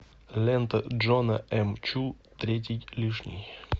лента джона эм чу третий лишний